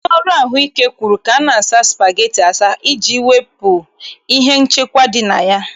Ndị ọrụ ahụ ike kwuru ka a na-asa spageti asa, iji wepụ ihe nchekwa dị na ya.